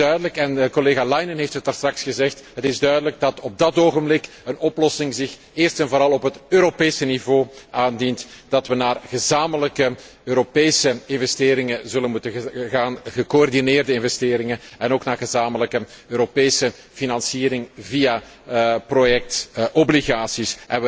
Het is duidelijk, en collega Leinen heeft het daarstraks gezegd, dat op dat ogenblik een oplossing zich eerst en vooral op het Europese niveau aandient, dat we naar gezamenlijke Europese investeringen zullen moeten gaan, gecoördineerde investeringen en ook naar gezamenlijke Europese financiering via projectobligaties.